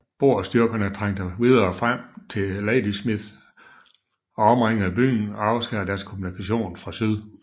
Boerstyrkerne trængte videre frem til Ladysmith og omringede byen og afskar dens kommunikation fra syd